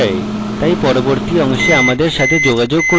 তাই পরবর্তী অংশে আমাদের সাথে যোগাযোগ করুন